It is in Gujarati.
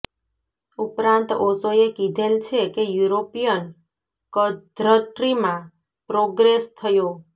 ઉપરાંત ઓશોએ કીધેલ છે કે યુરોપીયન ક્ધટ્રીમાં પ્રોગ્રેસ થયો